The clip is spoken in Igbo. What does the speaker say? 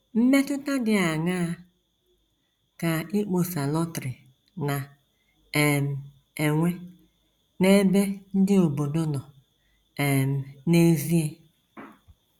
Mmetụta dị aṅaa ka ịkpọsa lọtrị na um - enwe n’ebe ndị obodo nọ um n’ezie?